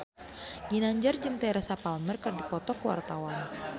Ginanjar jeung Teresa Palmer keur dipoto ku wartawan